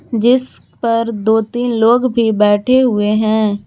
जिस पर दो तीन लोग भी बैठे हुए हैं।